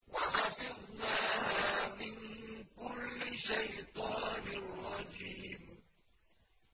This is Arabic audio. وَحَفِظْنَاهَا مِن كُلِّ شَيْطَانٍ رَّجِيمٍ